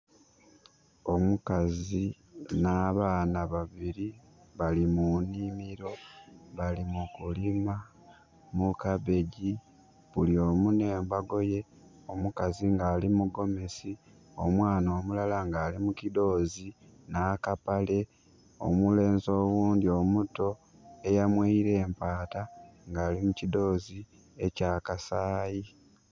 Omukazi nha baana babiri bali mu nhimiro bali mu kulima mu kabegi, bulyomu nhe mbago ye omukazi nga ali mu gomesi omwana omulala nga ali mu kidhoozi na kapale. Omulenzi oghundhi omuto eya mweire empaata nga ali mu kidhoozi ekya kasayi.